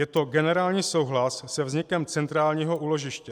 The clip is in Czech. Je to generální souhlas se vznikem centrálního úložiště.